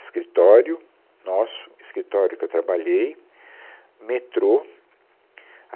escritório nosso, escritório que eu trabalhei, metrô.